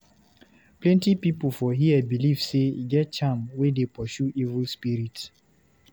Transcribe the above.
Plenty pipu for here beliv sey e get charm wey dey pursue evil spirit.